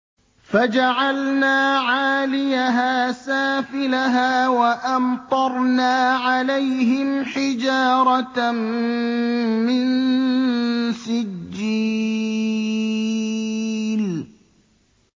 فَجَعَلْنَا عَالِيَهَا سَافِلَهَا وَأَمْطَرْنَا عَلَيْهِمْ حِجَارَةً مِّن سِجِّيلٍ